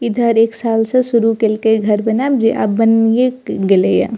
इधर एक साल से शुरू कैल के घर बनेएब जे आब बनि ए गैले ये ।